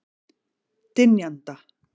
Dynjanda